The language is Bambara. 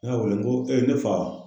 Ne y'a wele n ko ee ne fa.